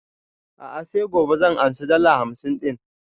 A'a sai gobe zan ansa dala hamsin ɗin